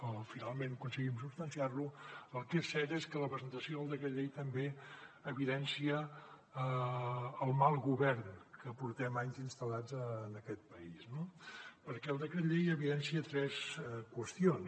o finalment aconseguim substanciar lo el que és cert és que la presentació del decret llei també evidencia el mal govern amb què portem anys instal·lats en aquest país no perquè el decret llei evidencia tres qüestions